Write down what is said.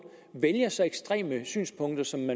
vælger så ekstreme synspunkter som